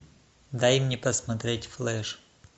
дай мне посмотреть флэш